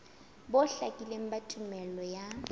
bo hlakileng ba tumello ya